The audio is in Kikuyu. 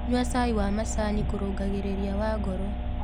Nyua cai wa macanĩ kũrũngagĩrĩrĩa wa ngoro